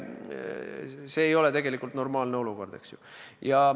See ei ole tegelikult normaalne olukord.